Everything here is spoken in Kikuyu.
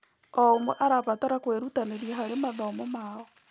O ũmwe arabatara kwĩrutanĩria harĩ mathomo mao.